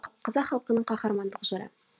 қазақ халқының қаһармандық жыры